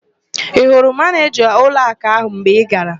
Ị hụrụ Manịjaa ụlọakụ ahụ mgbe ị gara?